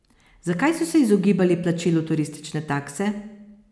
Zakaj so se izogibali plačilu turistične takse?